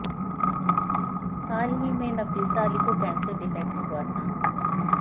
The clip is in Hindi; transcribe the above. हाल ही में नफीसा अली को कैंसर डिटेक्ट हुआ था